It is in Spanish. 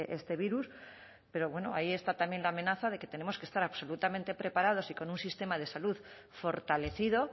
este virus pero bueno ahí está también la amenaza de que tenemos que estar absolutamente preparados y con un sistema de salud fortalecido